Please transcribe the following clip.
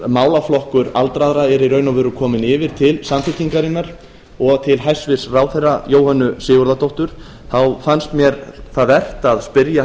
málaflokkur aldraðra er í raun og veru kominn yfir til samfylkingarinnar og til hæstvirts ráðherra jóhönnu sigurðardóttur þá fannst mér það vert að spyrja